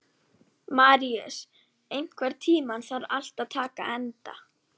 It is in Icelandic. Maríus, einhvern tímann þarf allt að taka enda.